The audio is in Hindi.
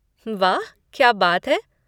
वाह, क्या बात है!